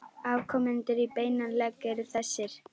Afkomendur í beinan legg eru þessir